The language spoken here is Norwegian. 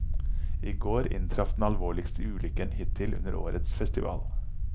I går inntraff den alvorligste ulykken hittil under årets festival.